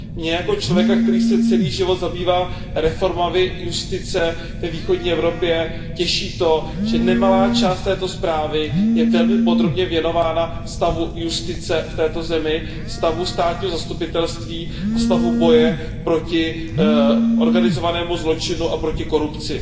Mě jako člověka, který se celý život zabývá reformami justice ve východní Evropě, těší to, že nemalá část této zprávy je velmi podrobně věnována stavu justice v této zemi, stavu státního zastupitelství a stavu boje proti organizovanému zločinu a proti korupci.